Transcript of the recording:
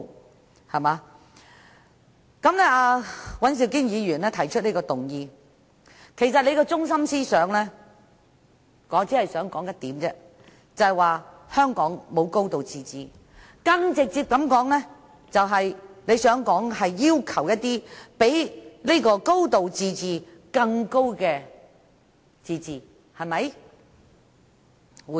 我只想指出，尹兆堅議員提出的這項議案的中心思想便是香港沒有"高度自治"，更直接地說，他想要求比"高度自治"更高的自治，對嗎？